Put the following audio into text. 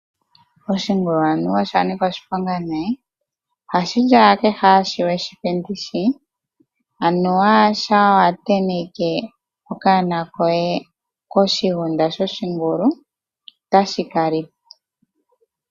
Oshingulu anuwa osha nika oshiponga nee! Ohashi li owala kehe shoka we shi pe ndishi, anuwa shampa wa tenteke okanona koye koshigunda shoshingulu, otashi ka li po.